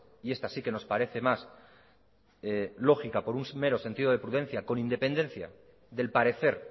y esta sí que nos parece más lógica por un mero sentido de prudencia con independencia del parecer